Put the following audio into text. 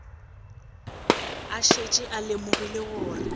a šetše a lemogile gore